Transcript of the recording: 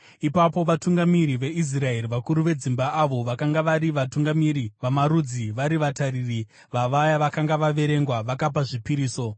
Ipapo vatungamiri veIsraeri, vakuru vedzimba avo vakanga vari vatungamiri vamarudzi vari vatariri vavaya vakanga vaverengwa, vakapa zvipiriso.